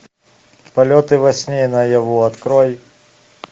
полеты во сне и наяву открой